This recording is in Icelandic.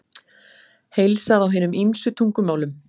Heilsað á hinum ýmsu tungumálum.